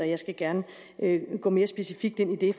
jeg skal gerne gå mere specifikt ind i det